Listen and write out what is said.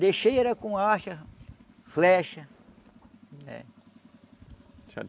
com, flecha. É. Certo.